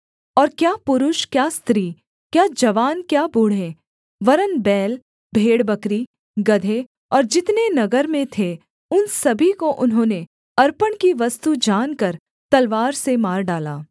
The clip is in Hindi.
और क्या पुरुष क्या स्त्री क्या जवान क्या बूढ़े वरन् बैल भेड़बकरी गदहे और जितने नगर में थे उन सभी को उन्होंने अर्पण की वस्तु जानकर तलवार से मार डाला